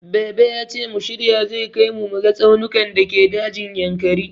Baba yace mu shirya zai kai mu muga tsaunukan dake dajin Yankari.